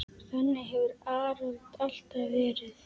Þannig hefur Arnold alltaf verið.